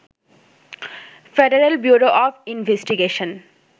federal Bureau of investigation